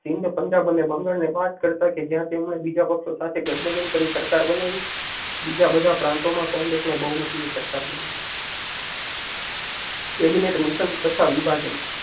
હિન્દ પંજાબ અને બંગાળ ને બાદ કરતા કે જ્યાં તેમણે બીજા પક્ષો સાથે ગઠબંધન કરી સરકાર બનાવી બીજા બધા પ્રાંતો માં કોંગ્રેસ ને બહુમતી ની સરકાર બનાવી. કેબીજેટ મિશન તથા વિભાજન.